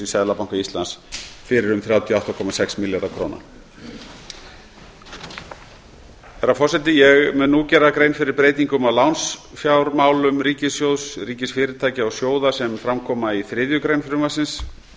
seðlabanka íslands fyrir um þrjátíu og átta komma sex milljarða króna herra forseti ég mun nú gera grein fyrir breytingum á lánsfjármálum ríkissjóðs ríkisfyrirtækja og sjóða sem fram koma í þriðju grein frumvarpsins þar er